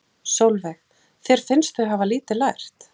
Sólveig: Þér finnst þau hafa lítið lært?